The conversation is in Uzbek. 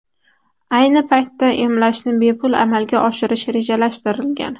Ayni paytda emlashni bepul amalga oshirish rejalashtirilgan.